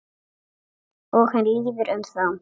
Og hann líður um þá.